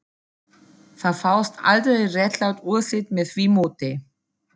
Það fást aldrei réttlát úrslit með því móti